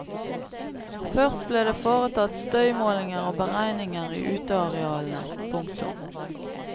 Først ble det foretatt støymålinger og beregninger i utearealene. punktum